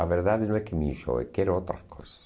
A verdade não é que me enjoo, é que quero outras coisas.